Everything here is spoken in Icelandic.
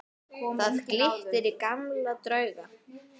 Þar glittir í gamla drauga.